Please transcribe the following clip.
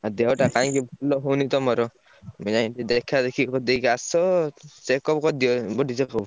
ଆଉ ଦେହଟା କାହିଁକି ଭଲ ହଉନି ତମର। ତମେ ଯାଇକି ଦେଖା ଦେଖି କରିଦେଇକି ଆସ। checkup କରିଦିଅ body checkup।